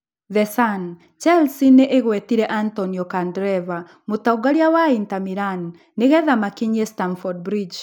(The Sun) Chelsea nĩ ĩgwetire Antonio Candreva, mũtongoria wa Inter Milan, nĩgetha makinyie Stamford Bridge.